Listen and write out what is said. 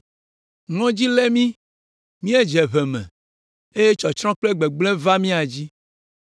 Ŋɔdzi lé mí; míedze ʋe me eye tsɔtsrɔ̃ kple gbegblẽ va mía dzi.”